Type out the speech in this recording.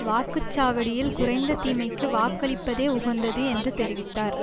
வாக்கு சாவடியில் குறைந்த தீமைக்கு வாக்களிப்பதே உகந்தது என்று தெரிவித்தார்